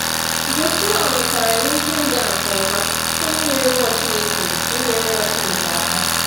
Joshuwa nwetara ihe ịga nke ọma site n’inyere mmụọ Chineke n’inyere mmụọ Chineke aka.